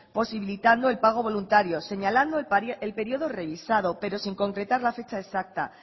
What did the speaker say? posibilitando el pago voluntario señalando el periodo revisado pero sin concretar la fecha exacta